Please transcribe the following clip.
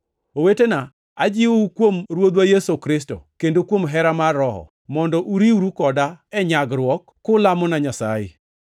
Owetena, ajiwou kuom Ruodhwa Yesu Kristo, kendo kuom hera mar Roho, mondo uriwru koda e nyagruokna, kulamona Nyasaye.